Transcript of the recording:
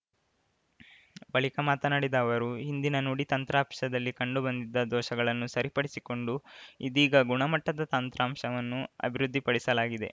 ಬಳಿಕ ಮಾತನಾಡಿದ ಅವರು ಹಿಂದಿನ ನುಡಿ ತಂತ್ರಾಂಶದಲ್ಲಿ ಕಂಡುಬಂದಿದ್ದ ದೋಷಗಳನ್ನು ಸರಿಪಡಿಸಿಕೊಂಡು ಇದೀಗ ಗುಣಮಟ್ಟದ ತಂತ್ರಾಂಶವನ್ನು ಅಭಿವೃದ್ಧಿಪಡಿಸಲಾಗಿದೆ